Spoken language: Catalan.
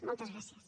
moltes gràcies